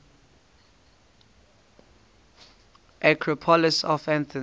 acropolis of athens